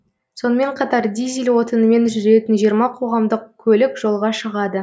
сонымен қатар дизель отынымен жүретін жиырма қоғамдық көлік жолға шығады